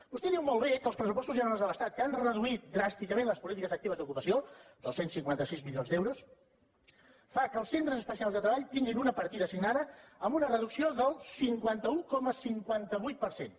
vostè diu molt bé que els pressupostos generals de l’estat que han reduït dràsticament les polítiques actives d’ocupació dos cents i cinquanta sis milions d’euros fan que els centres especials de treball tinguin una partida assignada amb una reducció del cinquanta un coma cinquanta vuit per cent